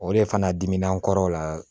O de fana diminen nkɔrɔ o la